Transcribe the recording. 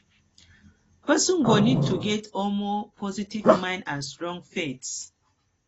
person person go need to get um positive mind and strong faith